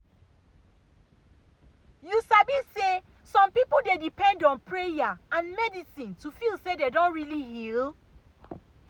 you sabi say some people dey depend on prayer and medicine to feel say dem don really heal.